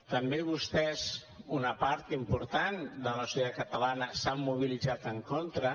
també vostès una part important de la societat catalana s’han mobilitzat en contra